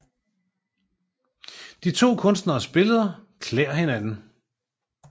De to Kunstneres Billeder klæder hinanden